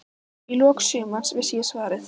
Í lok sumars vissi ég svarið.